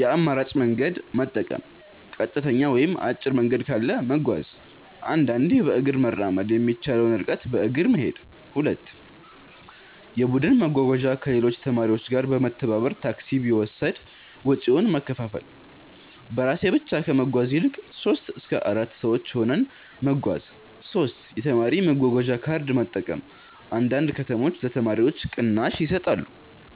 የአማራጭ መንገድ መጠቀም · ቀጥተኛ ወይም አጭር መንገድ ካለ መጓዝ · አንዳንዴ በእግር መራመድ የሚቻለውን ርቀት በእግር መሄድ 2. የቡድን መጓጓዣ · ከሌሎች ተማሪዎች ጋር በመተባበር ታክሲ ቢወሰድ ወጪውን መከፋፈል · በራሴ ብቻ ከመጓዝ ይልቅ 3-4 ሰዎች ሆነን መጓዝ 3. የተማሪ መጓጓዣ ካርድ መጠቀም · አንዳንድ ከተሞች ለተማሪዎች ቅናሽ ይሰጣሉ